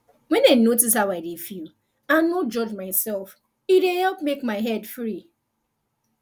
when i just notice how i dey feel and no judge myself e dey help make my head free